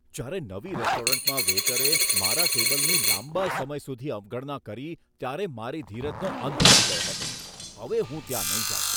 જયારે નવી રેસ્ટોરન્ટમાં વેઈટરે મારા ટેબલની લાંબા સમય સુધી અવગણના કરી ત્યારે મારી ધીરજનો અંત આવી ગયો હતો. હવે હું ત્યાં નહીં જાઉં.